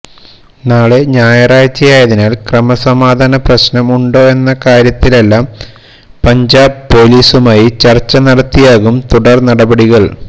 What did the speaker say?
നാളെ ഞായറാഴ്ചയായതിനാൽ ക്രമസമാധാന പ്രശ്നം ഉണ്ടോ എന്ന കാര്യത്തിലെല്ലാം പഞ്ചാബ് പൊലീസുമായി ചർച്ച നടത്തിയാകും തുടർ നടപടികൾ